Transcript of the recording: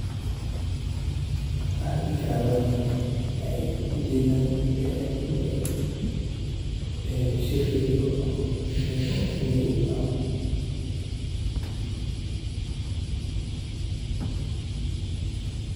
Wacan dihi karaa dadkanu waxey ujedhan meel shir ka jiro ama meel muhiim ah.